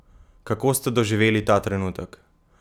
Kako ste doživeli ta trenutek?